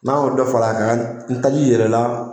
N'an k'o dɔ far'a kan, ni taji yɛlɛ la